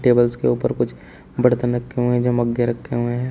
Tables के ऊपर कुछ बर्तन रखे हुए हैं या मग्गे रखे हुए हैं।